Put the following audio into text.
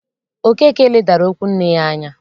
Okeke ledara okwu nne ya anya